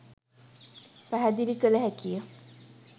පැහැදිලි කළ හැකිය.